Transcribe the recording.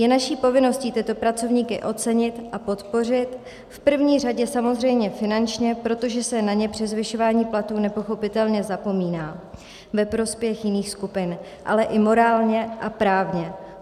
Je naší povinností tyto pracovníky ocenit a podpořit, v první řadě samozřejmě finančně, protože se na ně při zvyšování platů nepochopitelně zapomíná ve prospěch jiných skupin, ale i morálně a právně.